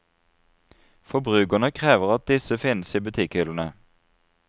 Forbrukerne krever at disse finnes i butikkhyllene.